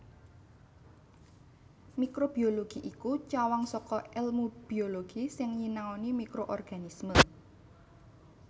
Mikrobiologi iku cawang saka èlmu biologi sing nyinaoni mikroorganisme